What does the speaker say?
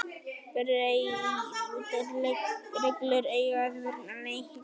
Breyttar reglur eiga að vernda leikmenn